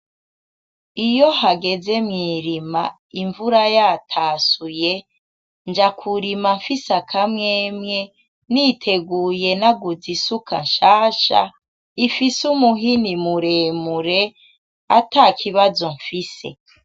Iyo hageze mw'irima imvura ya tasuye, nja kurima mfise akamwemwe niteguye naguze isuka nshasha. Ifise umuhini muremure, atakibazo mfise.